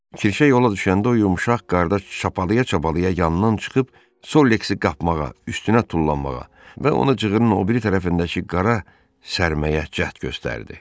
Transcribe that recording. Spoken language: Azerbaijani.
Kirşə yola düşəndə o yumşaq qarda çapalaya-çapalaya yanından çıxıb Solleksi qapmağa, üstünə tullanmağa və ona cığırın o biri tərəfindəki qara sərməyə cəhd göstərdi.